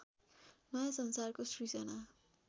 नयाँ संसारको सृजना